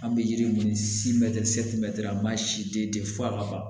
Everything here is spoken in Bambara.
An bɛ yiri min se a ma si den tɛ fɔ ka ban